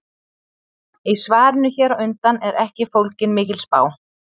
Í svarinu hér á undan er ekki fólgin mikil spá.